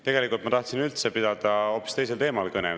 Tegelikult ma tahtsin üldse pidada kõne hoopis teisel teemal.